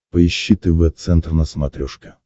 поищи тв центр на смотрешке